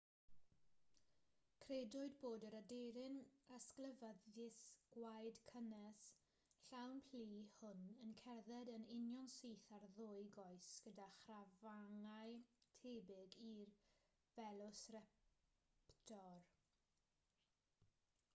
credwyd bod yr aderyn ysglyfaethus gwaed cynnes llawn plu hwn yn cerdded yn unionsyth ar ddwy goes gyda chrafangau tebyg i'r velociraptor